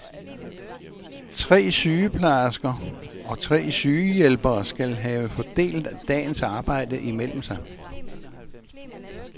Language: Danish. Tre sygeplejersker og tre sygehjælpere skal have fordelt dagens arbejde imellem sig.